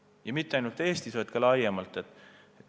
Ja mitte ainult Eestis, vaid ka laiemalt.